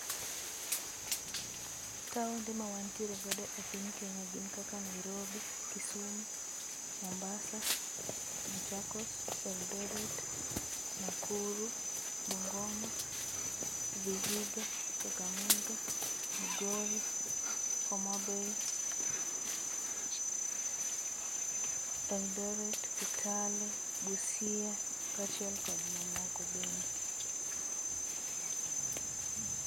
Taonde ma wantiere godo e piny Kenya gin kaka Nairobi, Kisumu, Mombasa, Machakos, Eldoret, Nakuru, Bungoma, Vihiga, Kakamega, Migori, Homa Bay Eldoret, Kitale, Busia, kachiel kod mamoko bende